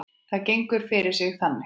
Það gengur fyrir sig þannig